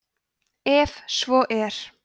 ef svo er